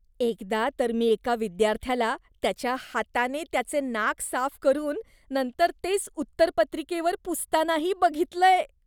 एकदा तर मी एका विद्यार्थ्याला त्याच्या हाताने त्याचे नाक साफ करून नंतर तेच उत्तरपत्रिकेवर पुसतानाही बघितलंय.